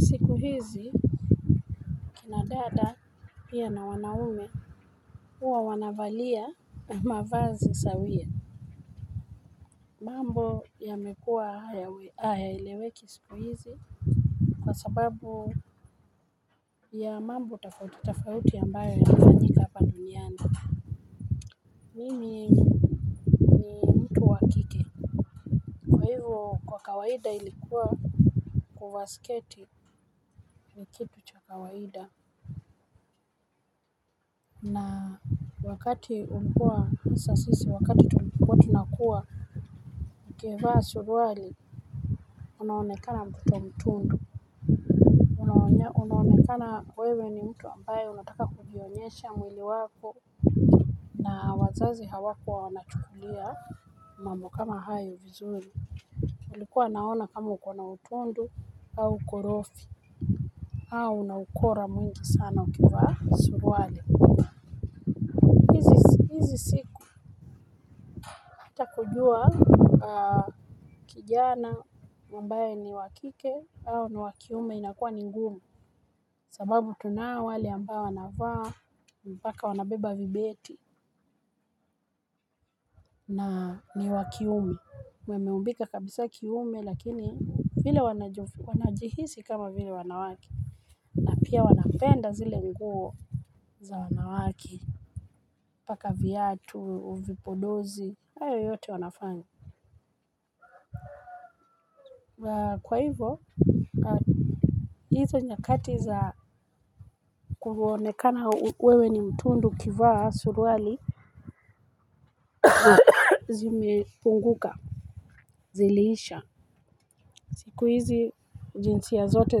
Siku hizi kina dada pia na wanaume huwa wanavalia mavazi sawia. Mambo yamekuwa hayaeleweki siku hizi kwa sababu ya mambo tofauti tofauti ambayo yanafanyika hapa duniani. Mimi ni mtu wa kike, kwa hivyo kwa kawaida ilikuwa kuvaa siketi ni kitu cha kawaida. Wakati ulikuwa sa sisi, wakati tulikuwa, tunakua, ukivaa suruali, unaonekana mtoto mtundu. Unaonekana wewe ni mtu ambaye unataka kujionyesha mwili wako. Wazazi hawakuwa wanachukulia mambo kama hayo vizuri. Walikuwa wanaona kama uko na utundu au ukorofi, au una ukora mwingi sana ukivaa suruali. Sikupata kujua kijana ambaye ni wa kike au ni wa kiume inakuwa ni ngumu sababu tunao wale ambao wanavaa mpaka wanabeba vibeti na ni wa kiume wameumbika kabisa kiume lakini vile wanajua wanajihisi kama vile wanawake na pia wanapenda zile nguo za wanawake. Kupaka viatu vipodozi hayo yote wanafanya kwa hivyo. Hizo nyakati za kuonekana wewe ni mtundu ukivaa suruali zimepunguka. Ziliisha siku hizi jinsia zote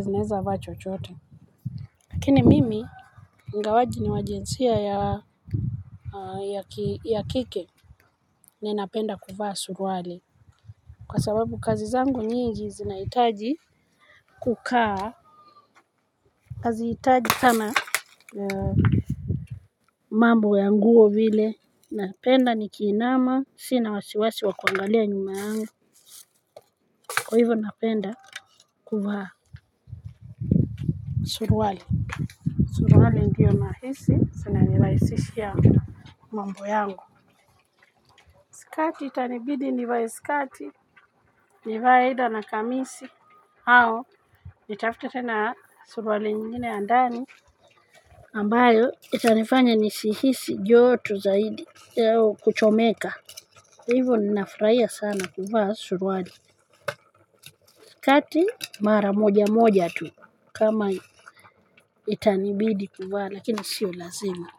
zinaeza vaa chochote. Lakini mimi ingawaje ni wa jinsia ya kike. Ninapenda kuvaa suruali. Kwa sababu kazi zangu nyingi zinahitaji kukaa. Hazihitaji sana mambo ya nguo vile, napenda nikiinama sina wasiwasi wa kuangalia nyuma yangu, kwa hivyo napenda. Kuvaa. Suruali. Suruali ndiyo nahisi zinanirahisishia mambo yangu. Skati itanibidi nivae sikati. Nivae either na kamisi au nitafute tena suruali nyingine ya ndani ambayo itanifanya nisihisi joto zaidi Kuchomeka. Hivo ninafurahia sana kuvaa suruali sikati mara moja moja tu kama itanibidi kuvaa lakini sio lazima.